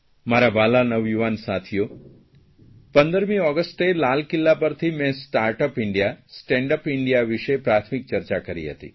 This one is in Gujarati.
મારા વ્હાલા નવયુવાન સાથીઓ 15મી ઓગસ્ટે લાલ કિલ્લા પરથી મેં startup India stand up India વિષે પ્રાથમિક ચર્ચા કરી હતી